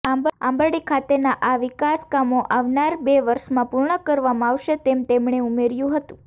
આંબરડી ખાતેના આ વિકાસ કામો આવનાર બે વર્ષમાં પૂર્ણ કરવામાં આવશે તેમ તેમણે ઉમેર્યું હતું